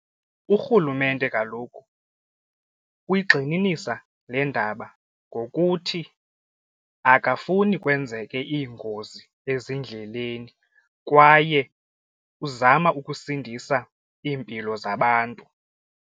Urhulumente kaloku uyigxininisa le ndaba ngokuthi akafuni kwenzeke iingozi ezindleleni kwaye uzama ukusindisa iimpilo zabantu.